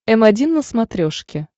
м один на смотрешке